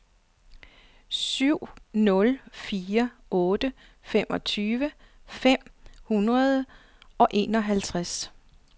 syv nul fire otte femogtyve fem hundrede og enoghalvtreds